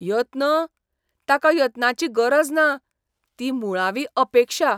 यत्न? ताका यत्नांची गरज ना. ती मुळावी अपेक्षा .